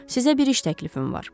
Sizə bir iş təklifim var.